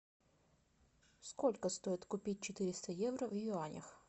сколько стоит купить четыреста евро в юанях